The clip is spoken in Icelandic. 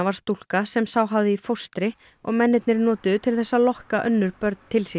stúlka sem sá hafði í fóstri og mennirnir notuðu til þess að lokka önnur börn til sín